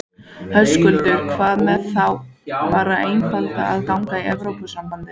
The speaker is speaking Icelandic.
Höskuldur: Hvað með þá bara einfaldlega að ganga í Evrópusambandsins?